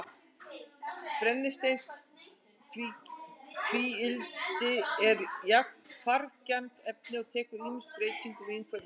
Brennisteinstvíildi er hvarfgjarnt efni og tekur ýmsum breytingum í umhverfinu.